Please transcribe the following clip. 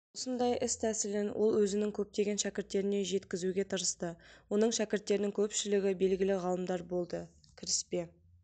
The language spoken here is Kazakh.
осындай іс тәсілін ол өзінің көптеген шәкірттеріне жеткізуге тырысты оның шәкірттерінің көпшілігі белгілі ғалымдар болды кіріспе